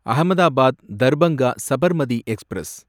Ahmedabad Darbhanga Sabarmati express